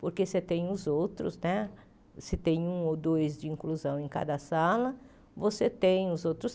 Porque você tem os outros né, se tem um ou dois de inclusão em cada sala, você tem os outros